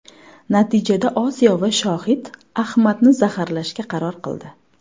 Natijada Osiyo va Shohid Amjadni zaharlashga qaror qildi.